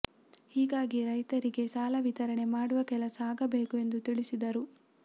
ಹೀಗಾಗಿ ರೈತರಿಗೇ ಸಾಲ ವಿತರಣೆ ಮಾಡುವ ಕೆಲಸ ಆಗಬೇಕು ಎಂದು ತಿಳಿಸಿದರು